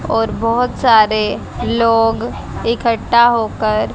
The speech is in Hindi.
और बहुत सारे लोग इकट्ठा होकर--